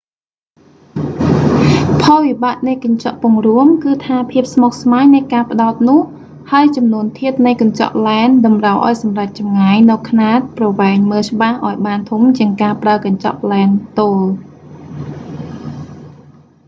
ផលវិបាកនៃកញ្ចក់ពង្រួម គឺថាភាពស្មុគស្មាញនៃការផ្តោតនោះ ហើយចំនួនធាតុនៃកញ្ចក់ឡែន តម្រូវឱ្យសម្រេចចម្ងាយនូវខ្នាតប្រវែងមើលច្បាស់ឱ្យបានធំជាងការប្រើកញ្ចប់ឡែនទោល